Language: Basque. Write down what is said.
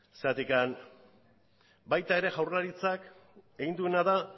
baita ere jaurlaritzak egin duena da